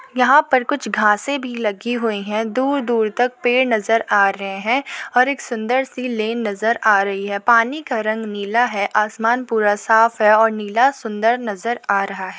यहाँ पर कुछ घासें भी लगी हुई हैं। दूर दूर तक पेड़ नजर आ रहे हैं और एक सुंदर सी लेन नजर आ रही है। पानी का रंग नीला है। आसमान पूरा साफ है और नीला सुंदर नजर आ रहा है।